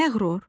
Məğrur,